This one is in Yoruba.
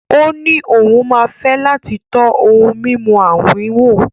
Ó ní òun máa fẹ́ láti tọ́ ohun mímu àwín wò.